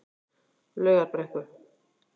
Laugarbrekku